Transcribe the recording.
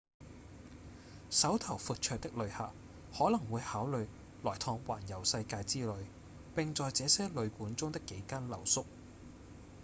手頭闊綽的旅客可能會考慮來趟環遊世界之旅並在這些旅館中的幾間留宿